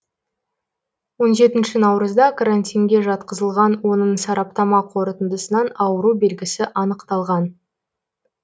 он жетінші наурызда карантинге жатқызылған оның сараптама қорытындысынан ауру белгісі анықталған